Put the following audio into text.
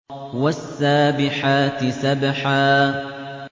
وَالسَّابِحَاتِ سَبْحًا